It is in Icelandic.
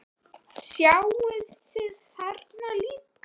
Sjáið þið þarna líka?